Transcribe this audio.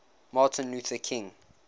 martin luther king